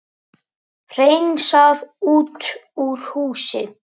Hreinsað út úr húsi